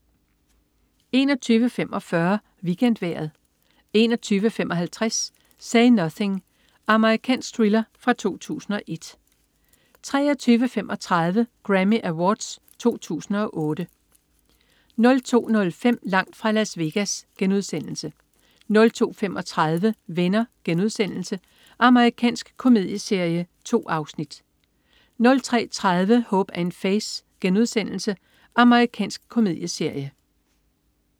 21.45 WeekendVejret 21.55 Say Nothing. Amerikansk thriller fra 2001 23.35 Grammy Awards 2008 02.05 Langt fra Las Vegas* 02.35 Venner.* Amerikansk komedieserie. 2 afsnit 03.30 Hope & Faith.* Amerikansk komedieserie